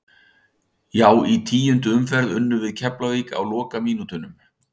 Já í tíundu umferð unnum við Keflavík á lokamínútunum.